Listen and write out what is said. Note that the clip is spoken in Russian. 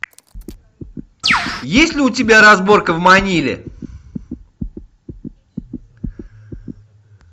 есть ли у тебя разборка в маниле